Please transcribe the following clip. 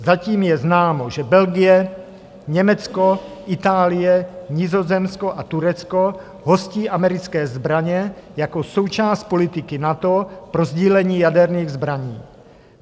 Zatím je známo, že Belgie, Německo, Itálie, Nizozemsko a Turecko hostí americké zbraně jako součást politiky NATO pro sdílení jaderných zbraní.